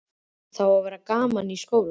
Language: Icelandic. Það á að vera gaman í skóla.